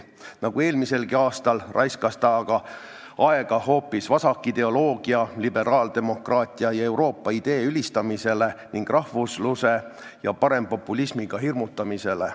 Nagu eelmiselgi aastal, raiskas ta aega hoopis vasakideoloogia, liberaaldemokraatia ja Euroopa idee ülistamisele ning rahvusluse ja parempopulismiga hirmutamisele.